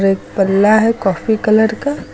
एक पल्ला है कॉफी कलर का।